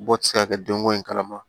Bɔ ti se ka kɛ den ko in kalama